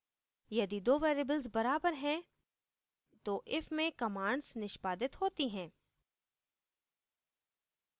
यदि दो variables बराबर हैं तो if में commands निष्पादित होती हैं